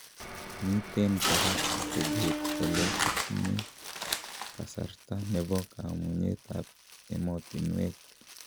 Miten koraa atebeet kole kitinye kasarta nebo kamunyeetab emotinwek ".